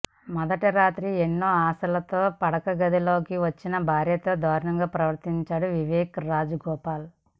మొదటిరాత్రి ఎన్నో ఆశలతో పడకగదిలోకి వచ్చిన భార్యతో దారుణంగా ప్రవర్తించాడు వివేక్ రాజగోపాల్